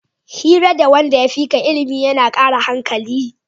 Hira da wanda ya fika ilimi yana kara hankali